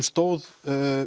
stóð